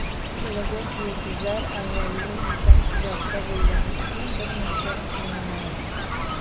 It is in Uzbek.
Bo‘lajak yulduzlar avvaliga uydan uzoqda bo‘lgani uchun birmuncha qiynalardi.